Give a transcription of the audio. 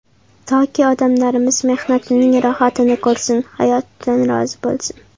Toki odamlarimiz mehnatining rohatini ko‘rsin, hayotidan rozi bo‘lsin.